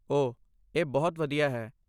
ਓਹ, ਇਹ ਬਹੁਤ ਵਧੀਆ ਹੈ।